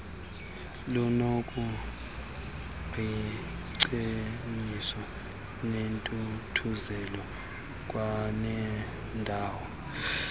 lunokuqiingcebiso nentuthuzelo kwanendawo